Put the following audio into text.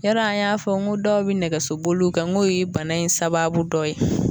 Yɔrɔ an y'a fɔ ko dɔw bi nɛgɛso boluw kɛ ngo ye bana in sababu dɔ ye